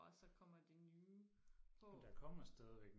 og så kommer de nye på